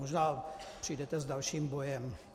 Možná přijdete s dalším bojem.